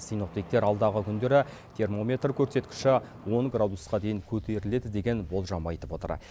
синоптиктер алдағы күндері термометр көрсеткіші он градусқа дейін көтеріледі деген болжам айтып отыр